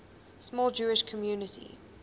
small jewish community